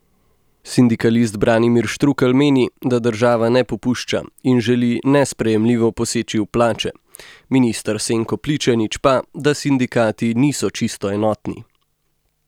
Sindikalist Branimir Štrukelj meni, da država ne popušča in želi nesprejemljivo poseči v plače, minister Senko Pličanič pa, da sindikati niso čisto enotni.